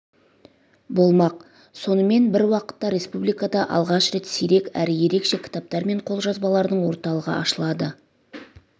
болмақ сонымен бір уақытта республикада алғаш рет сирек әрі ерекше кітаптар мен қолжазбалардың орталығы ашылады